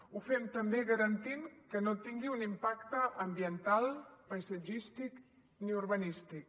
ho fem també garantint que no tingui un impacte ambiental paisatgístic ni urbanístic